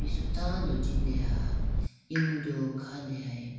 su tando jindeha emudu khandehayi bo.